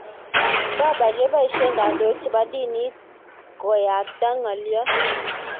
Papa kopeshe kandoik chebo dinit konyabta ngalot.